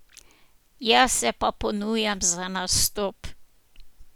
Jaz se pa ponujam za nastop.